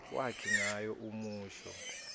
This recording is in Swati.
wakhe ngalo umusho